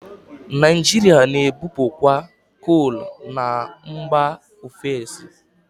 Naijiria na-ebupukwa kol na mgba ofesi.